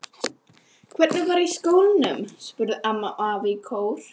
Hvernig var í skólanum? spurðu amma og afi í kór.